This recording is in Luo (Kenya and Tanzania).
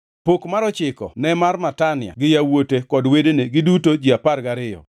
Pok mar ochiko ne mar Matania gi yawuote kod wedene, giduto ji apar gariyo,